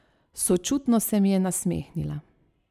Sočutno se mi je nasmehnila.